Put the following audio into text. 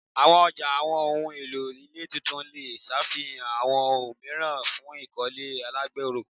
Awọn ọja awọn ohun elo ile tuntun le ṣafihan awọn omiiran fun ikole alagbero